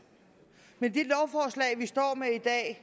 men i det lovforslag vi står med i dag